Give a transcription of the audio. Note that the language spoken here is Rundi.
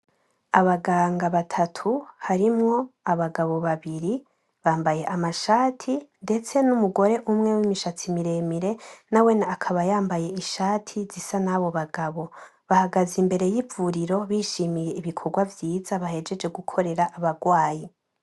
Abaganga batatu, harimwo abagabo babiri bambaye amashati ndetse n'umugore umwe wimishatsi miremire nawene akaba yambaye ishati zisa nabo bagabo. Bahagaze imbere y'ivuriro bishimiye ibikorwa vyiza bahejeje gukorera abarwayi.